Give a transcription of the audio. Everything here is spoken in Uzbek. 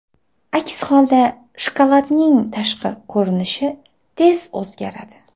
Aks holda shokoladning tashqi ko‘rinishi tez o‘zgaradi.